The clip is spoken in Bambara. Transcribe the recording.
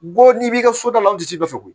Ko n'i b'i ka so da la o tigi nɔfɛ koyi